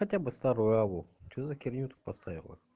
хотя бы старую аву что за херню ты поставила